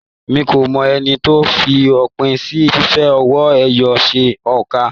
Mí ko mọ ẹni tó f'òpin sí fífi owó ẹyọ ṣe óńka.